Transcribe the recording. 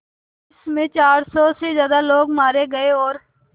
जिस में चार सौ से ज़्यादा लोग मारे गए और